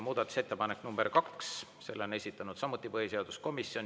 Muudatusettepanek number kaks, selle on esitanud samuti põhiseaduskomisjon.